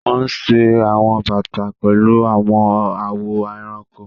Wọn ṣe awọn bata pẹlu awọn awọ ẹranko.